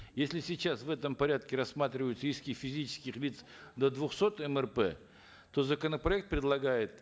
если сейчас в этом порядке рассматриваются иски физических лиц до двухсот мрп то законопроект предлагает